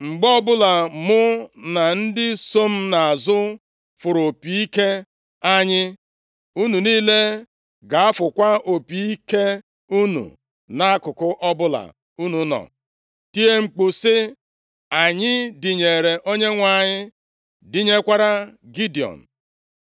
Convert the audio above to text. Mgbe ọbụla mụ na ndị so m nʼazụ fụrụ opi ike anyị, unu niile ga-afụkwa opi ike unu nʼakụkụ ọbụla unu nọ, tie mkpu, sị, ‘Anyị dịnyere Onyenwe anyị, dịnyekwara Gidiọn.’ ”